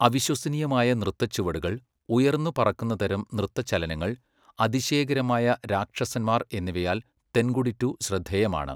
അവിശ്വസനീയമായ നൃത്തച്ചുവടുകൾ, ഉയർന്നുപറക്കുന്നതരം നൃത്തചലനങ്ങൾ, അതിശയകരമായ രാക്ഷസന്മാർ എന്നിവയാൽ തെൻകുടിട്ടു ശ്രദ്ധേയമാണ്.